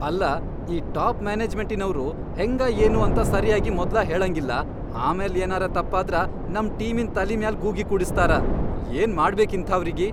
ಅಲ್ಲಾ ಈ ಟಾಪ್ ಮ್ಯಾನೆಜ್ಮೆಂಟಿನವ್ರು ಹೆಂಗ ಏನು ಅಂತ ಸರೀ ಆಗಿ ಮೊದ್ಲ ಹೇಳಂಗಿಲ್ಲಾ ಆಮ್ಯಾಲ್ ಏನರೆ ತಪ್ಪಾದ್ರ ನಮ್ ಟೀಮಿನ್ ತಲಿ ಮ್ಯಾಲ್ ಗೂಗಿ ಕೂಡಸ್ತಾರ, ಏನ್ ಮಾಡ್ಬೇಕ್ ಇಂಥಾವ್ರಿಗಿ.